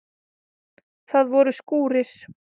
Það voru skúrir.